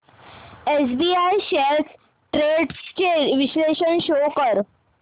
SBI shares trends चे विश्लेषण show कर